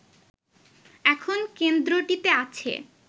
এখন কেন্দ্রটিতে আছে